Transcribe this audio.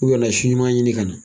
U kana si ɲuman ɲini kana